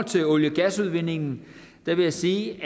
til olie og gasudvindingen vil jeg sige